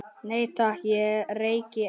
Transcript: Nei, takk, ég reyki ekki